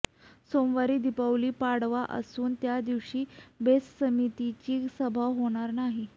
सोमवारी दीपावली पाडवा असून त्यादिवशी बेस्ट समितीची सभा होणार नाही